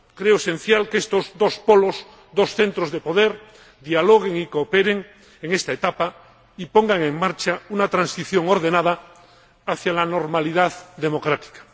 Creo que es esencial que estos dos polos, dos centros de poder, dialoguen y cooperen en esta etapa y pongan en marcha una transición ordenada hacia la normalidad democrática.